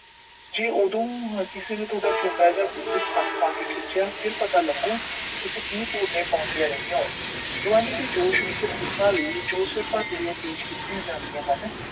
ਜੇ ਉਦੋਂ ਕਿਸੇ ਨੇ ਤੁਹਾਡੇ ਜੂੰਡੇ ਜਾਂ ਗੁੱਤ ਨੂੰ ਹੱਥ ਪਾਕੇ ਖਿਚਿਆ, ਫਿਰ ਪਤਾ ਲੱਗੂ ਤੁਸੀਂ ਕੀ ਭੁਰਨੇ ਪਾਉਂਦੀਆਂ ਰਹੀਆਂ ਓ। ਜਵਾਨੀ ਦੇ ਜੋਸ਼ ਵਿੱਚ ਸੱਸਾਂ ਲਈ ਜੋ ਸਿਠੜੀਆਂ ਪੇਸ਼ ਕੀਤੀਆਂ ਜਾਂਦੀਆਂ ਹਨ